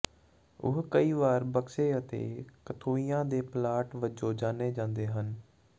ਉਹ ਕਈ ਵਾਰ ਬਕਸੇ ਅਤੇ ਕਖੋਈਆਂ ਦੇ ਪਲਾਟ ਵਜੋਂ ਜਾਣੇ ਜਾਂਦੇ ਹਨ